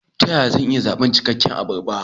Ta yaya zan iya zaɓar cikakke abarba?